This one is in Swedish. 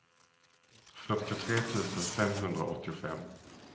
fyrtiotre tusen femhundraåttiofem